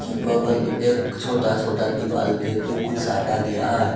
बगल में एक छोटा छोटा दिवाल में भी है कुछ साटा गया है।